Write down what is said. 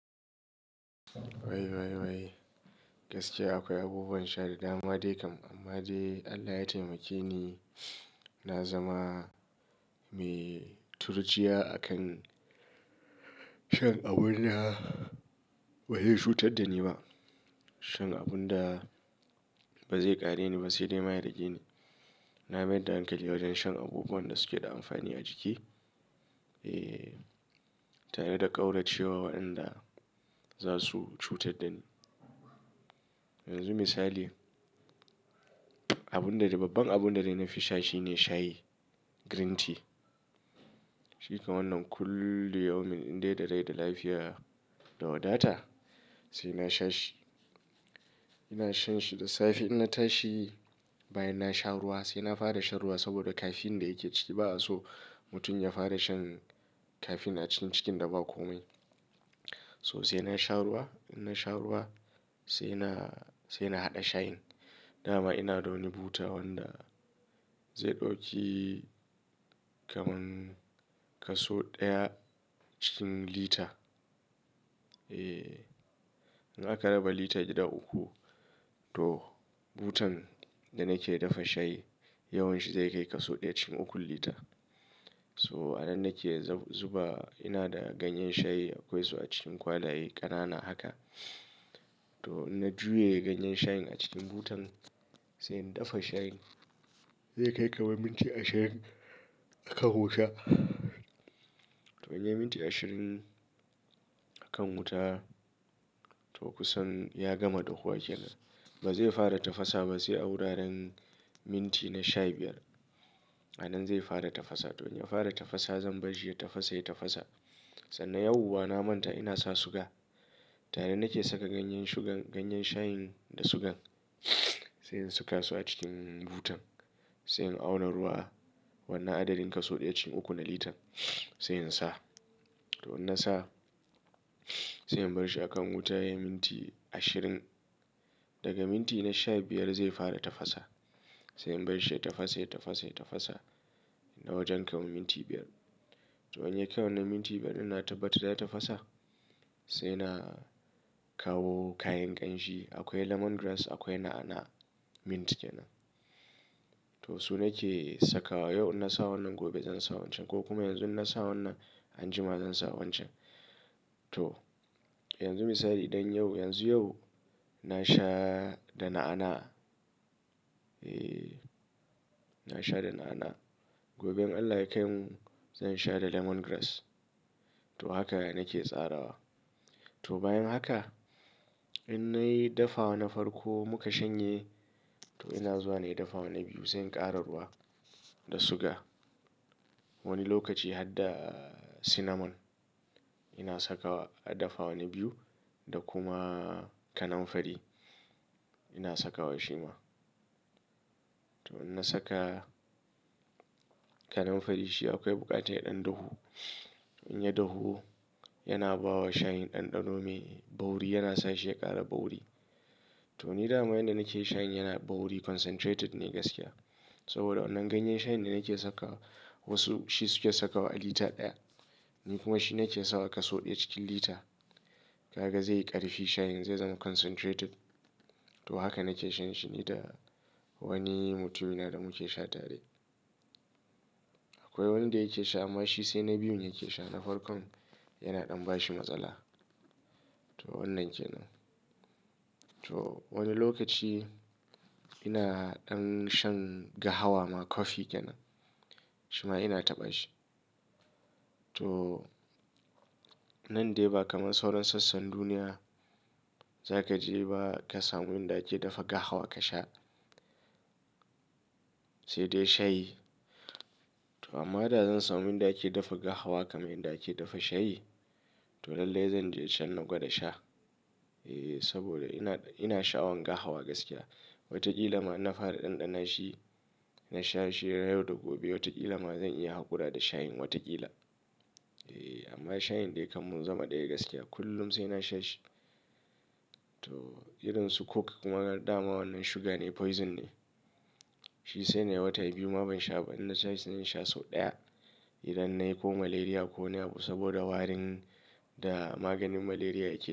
Wai, wai, wai gaskiya akwai abubuwan sha da dama dai kam amma dai Allah ya taimake ni, na zama mai turjiya a kan shan abun da bai yi cutar da ni ba. Shan abun da ba zai ƙare ni ba sai dai ma ya rage ni. Na mayar da hankali wajen shan abubuwan da suke da amfani a jiki, eh tare da ƙauracewa waɗanda za su cutar da ni. Yanzu misali, abun da babbar abun da na fi sha shine shayi, green tea. Shi kam wannan kullum yawan min in dai da rai da lafiya da wadata sai na sha shi. Ina shan shi da safe in na tashi bayan na sha ruwa sai na fara sha ruwa saboda kaffeine da yake ciki ba a so mutum ya fara shan kaffeine a cikin cikin da ba kome. So sai na sha ruwa, in na sha ruwa sai na, sai na haɗa shayin. Da ma ina da wani buta wanda zai ɗauki kamar kaso ɗaya cikin lita. Eh, in aka raba lita gida uku to butan da nake dafa shayi yawan shi zai kai kaso ɗaya cikin ukun lita. So a nan nake zuba ina da ganyen shayi akwai su a cikin kwalaye ƙanana haka. To ina juya ganyen shayin a cikin butan sai in dafa shayin. Zai kai kamar minti ashirin aka hoshi. To in yi minti ashirin a kan wuta to kusan ya gama dahuwa kenan. Ba zai fara tafasa ba sai a wuraren minti na sha biyar a nan zai fara tafasa. To in ya fara tafasa zan bar shi ya tafasa, ya tafasa. Sannan yauwa na manta ina sa suga tare nake saka ganyen shugan, ganyen shayin da sugan sai in saka su a cikin butan sai in auna ruwa wannan adadin kaso ɗaya cikin uku na litan sai in sa. To in na sa sai in bar shi a kan wuta ya yi minti ashirin. Daga minti na sha biyar zai fara tafasa. Sai in bar shi ya tafasa, ya tafasa, ya tafasa na wajen kamar minti biyar. To in ya kai wannan minti biyar ina tabbatar ya tafasa sai na kawo kayan ƙanshi akwai lemongrass, akwai na'ana, mint kenan. To su nake sakawa yau in na sa wannan gobe zan sa wancan ko kuma yanzu in na sa wannan anjima zan sa wancan. To yanzu misali idan yau, yanzu yau na sha da na'ana, eh na sha da na'ana. Gobe in Allah ya kai mu zan sha da lemun tsami ciyawa to haka yake nake tsarawa. To bayan haka in na yi dafawa na farko muka shanye to ina zuwa na yi dafa wani biyu sai in ƙara ruwa da suga Wani lokaci har da cinnamon ina saka wa a dafa wani biyu da kuma kananfari ina saka wa shi ma. To in na saka kaninfari shi akwai buƙatar ɗan dahu. In ya dahu yana bawa shayin ɗanɗano mai bauiri yana sa shi ya ƙara bauiri. To ni dama yanda nake shayin yana bauiri concentrated ne gaskiya saboda wannan ganyen shayin da nake saka wasu shi suke saka wa a lita ɗaya ni kuma shi nake sawa kaso ɗaya cikin lita. Kaga zai ƙarfi shayin zai zama concentrated. To haka nake shan shi ni da wani mutum ina da muke sha tare. Akwai wanda yake sha amma shi sai na biyun yake sha na farko yana ɗan bashi matsala. To wannan kenan. To wani lokaci ina ɗan shan gahawa ma coffee kenan, shi ma ina taɓa shi. To nan dai ba kamar sauran sassan duniya za ka je ba ka samu inda ake dafa gahawa ka sha sai dai shayi. To amma da zan samu inda ake dafa gahawa kamar inda ake dafa shayi to lallai zan je can naga da sha. Eh saboda ina, ina sha wanka hawa gaskiya. Wataƙila ma in na fara ɗanɗana shi na sha shi har yau da gobe wataƙila ma zan iya haƙura da shayin wataƙila. Eh amma shayin dai kam mun zama ɗaya gaskiya kullum sai na sha shi. To irin su coke kuma gama wannan suga ne poison ne. Shi sai dai watai biyu ma ban sha ba idan na sha sai na sha sau ɗaya idan nayi ko malaria ko niyabo saboda warin da maganin malaria yake.